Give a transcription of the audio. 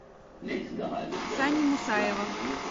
сани мусаева